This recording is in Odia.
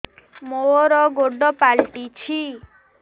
ମୋର ଗୋଡ଼ ପାଲଟିଛି